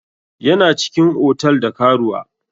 Yana cikin otal da karuwa.